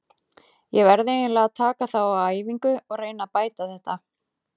Ég verð eiginlega að taka þá á æfingu og reyna að bæta þetta.